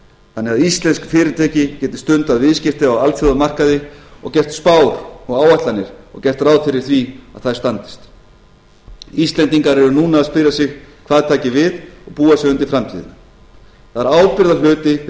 þannig að íslensk fyrirtæki geti stundað viðskipti á alþjóðamarkaði og gert spár og áætlanir og gert ráð fyrir því að þær standi íslendingar eru núna að spyrja sig hvað taki við og búa sig undir framtíðina það er ábyrgðarhluti fyrir